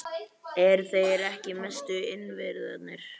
Eru þeir ekki mestu innviðirnir?